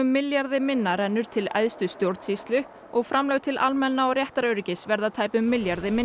milljarði minna rennur til æðstu stjórnsýslu og framlög til almanna og réttaröryggis verða tæpum milljarði minni